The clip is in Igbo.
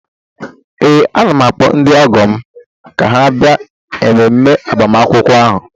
Ee, ana m akpọ ndị ọgọ m ka ha bịa mmemme agbamakwụkwọ ahụ